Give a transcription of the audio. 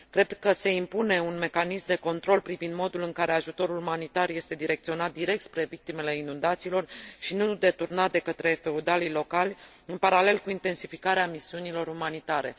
Cred că se impune un mecanism de control privind modul în care ajutorul umanitar este direcționat direct spre victimele inundațiilor și nu deturnat de către feudalii locali, în paralel cu intensificarea misiunilor umanitare.